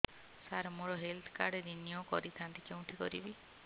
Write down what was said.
ସାର ମୋର health card renew କରିଥାନ୍ତି କେଉଁଠି କରିବି